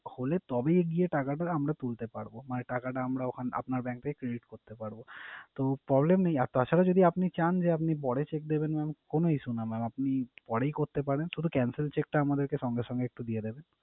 খুললে তবেই গিয়ে টাকাটা আমরা তুলতে পারবো। মানে টাকাটা আমরা ওখান আপনার bank থেকে credit করতে পারবো। তো problem নেই আর তাছাড়া যদি আপনি চান যে আপনি পরে cheque দেবেন mam কোন issue নেই। আপনি পরেই করতে পারেন শুধু cancel এর cheque টা আমাদেরকে সঙ্গে সঙ্গে একটু দিয়ে দেবেন।